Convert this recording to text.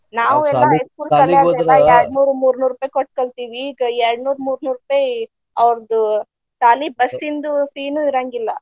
ನಾವೆಲ್ಲಾ high school ಕಲಿಯೋವಾಗೆಲ್ಲಾ ಯ್ಯಾಡ ನೂರು ಮೂರ ನೂರ ರೂಪಾಯಿ ಕೊಟ್ಟ ಕಲ್ತಿವಿ ಈಗ ಯ್ಯಾಡ ನೂರ ಮೂರ್ನೂರ್ ರೂಪಾಯಿ ಅವ್ರದು ಸಾಲಿ bus ಇಂದು fee ನು ಇರಾಂಗಿಲ್ಲ.